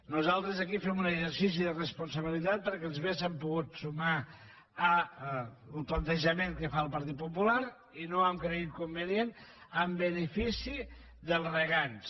nosaltres aquí fem un exercici de responsabilitat perquè ens hauríem pogut sumar al plantejament que fa el partit popular i no ho hem cregut convenient en benefici dels regants